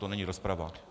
To není rozprava.